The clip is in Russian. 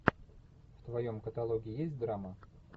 в твоем каталоге есть драма